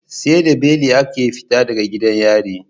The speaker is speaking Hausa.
Seda beli ake fita daga gidan yari